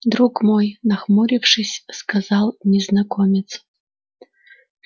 друг мой нахмурившись сказал незнакомец